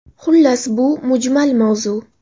Xullas, bu mujmal mavzu.